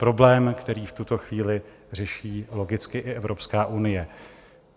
Problém, který v tuto chvíli řeší logicky i Evropská unie.